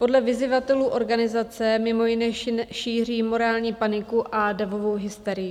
Podle vyzyvatelů organizace mimo jiné šíří morální paniku a davovou hysterii.